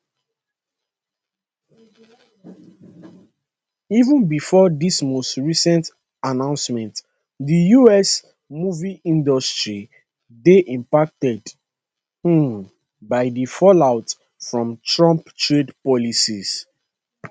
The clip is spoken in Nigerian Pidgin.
even bifor dis most recent announcement di us movie industry dey impacted um by di fallout from trump trade policies